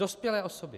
Dospělé osoby.